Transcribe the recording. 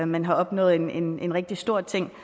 men har opnået en en rigtig stor ting